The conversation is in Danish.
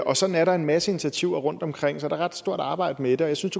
og sådan er der en masse initiativer rundtomkring så der er et stort arbejde med det jeg synes